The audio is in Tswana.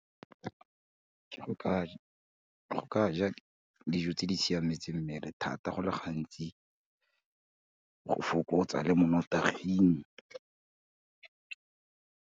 Ke go ka ja dijo tse di siametse mmele thata, go le gantsi go fokotsa le mo nnotaging.